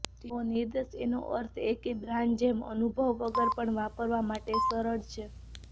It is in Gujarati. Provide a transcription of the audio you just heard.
તેઓ નિર્દેશ એનો અર્થ એ કે બ્રાન્ડ જેમ અનુભવ વગર પણ વાપરવા માટે સરળ છે